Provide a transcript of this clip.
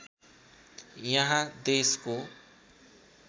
यहाँ देशको